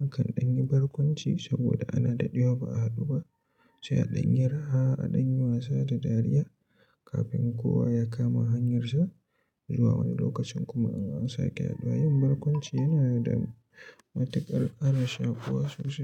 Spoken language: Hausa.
Mukan ɗan yi barkwanci saboda ana dadewa ba a haɗu ba, sai a ɗan yi raha, a ɗan yi wasa da dariya kafin kowa ya kama hanyarsa zuwa wani lokacin kuma in an sake haɗuwa. Yin barkwanci yana da matuƙar ƙara shakuwa sosai.